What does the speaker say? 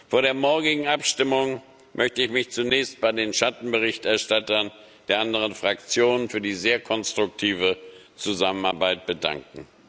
Vor der morgigen Abstimmung möchte ich mich zunächst bei den Schattenberichterstattern der anderen Fraktionen für die sehr konstruktive Zusammenarbeit bedanken.